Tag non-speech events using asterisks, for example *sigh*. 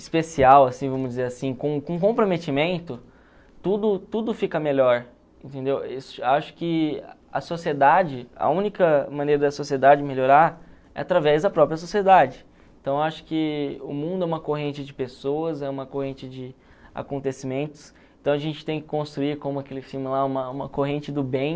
especial assim vamos dizer assim com com comprometimento tudo tudo fica melhor entendeu *unintelligible* acho que a sociedade a única maneira da sociedade melhorar através da própria sociedade então acho que o mundo é uma corrente de pessoas é uma corrente de acontecimentos então a gente tem que construir como aquele filme lá uma uma corrente do bem